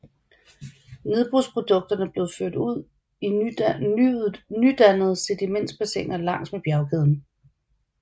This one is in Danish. Nedbrudsprodukterne blev ført ud i nydannede sedimentbassiner langs med bjergkæden